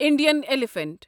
Indian elephant